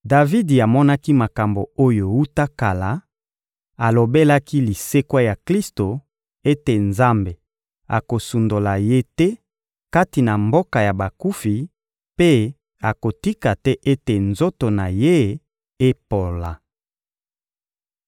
Davidi amonaki makambo oyo wuta kala, alobelaki lisekwa ya Klisto ete Nzambe akosundola Ye te kati na mboka ya bakufi mpe akotika te ete nzoto na Ye epola.